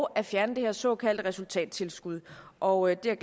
at fjerne det her såkaldte resultattilskud og det er